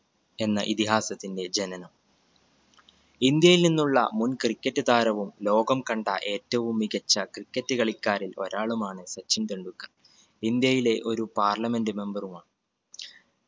എന്ന ഇതിഹാസത്തിന്റെ ജനനം. ഇന്ത്യയിൽ നിന്നുള്ള മുൻ cricket താരവും ലോകം കണ്ട ഏറ്റവും മികച്ച cricket കളിക്കാരിൽ ഒരാളുമാണ് സച്ചിൻ ടെണ്ടുൽക്കർ. ഇന്ത്യയിലെ ഒരു parliament member ഉമാണ്